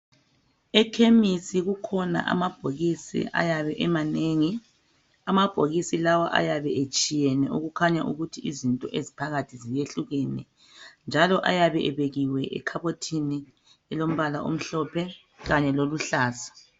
Ekhemisi kukhona amabhokisi ayabe emanengi , amabhokisi lawa ayabe etshiyeneyo okukhanya ukuthi izinto eziphakathi ziyehlukene njalo ayabe ebekiwe ekhabothini elombala omhlophe kanye loluhlaza